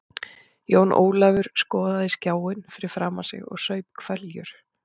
Jón Ólafur skoðaði skjáinn fyrir framan sig og saup hveljur.